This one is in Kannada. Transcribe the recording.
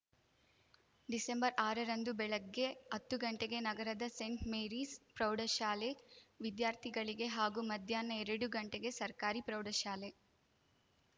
ಡಿಸೆಂಬರ್ಆರರಂದು ಬೆಳಗ್ಗೆ ಅತ್ತು ಗಂಟೆಗೆ ನಗರದ ಸೆಂಟ್‌ ಮೇರಿಸ್‌ ಪ್ರೌಢಶಾಲೆ ವಿದ್ಯಾರ್ಥಿಗಳಿಗೆ ಹಾಗೂ ಮಧ್ಯಾಹ್ನ ಎರಡು ಗಂಟೆಗೆ ಸರ್ಕಾರಿ ಪ್ರೌಢಶಾಲೆ